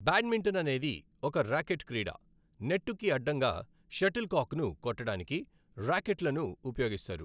Badminton అనేది ఒక racket క్రీడ, నెట్టుకి అడ్డంగా షటిల్ కాక్ను కొట్టడానికి ర్యాకెట్లను ఉపయోగిస్తారు.